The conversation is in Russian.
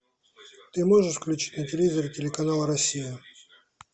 ты можешь включить на телевизоре телеканал россия